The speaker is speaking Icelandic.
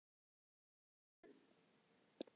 Glámu